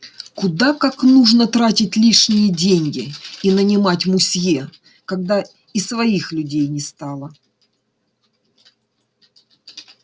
куда как нужно тратить лишние деньги и нанимать мусье когда и своих людей не стало